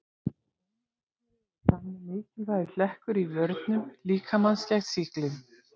Ónæmiskerfið er þannig mikilvægur hlekkur í vörnum líkamans gegn sýklum.